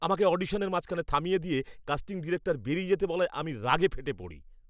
আমাকে অডিশনের মাঝখানে থামিয়ে দিয়ে কাস্টিং ডিরেক্টর বেরিয়ে যেতে বলায় আমি রাগে ফেটে পড়ি।